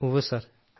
ഉവ്വ് സർ